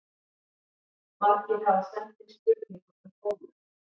Margir hafa sent inn spurningu um bólur.